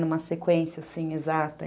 Numa sequência, assim, exata.